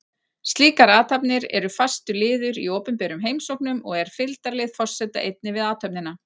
Slíkar athafnir eru fastur liður í opinberum heimsóknum og er fylgdarlið forseta einnig við athöfnina.